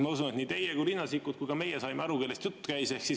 Ma usun, et nii teie kui Riina Sikkut kui ka meie saime aru, kellest jutt käis.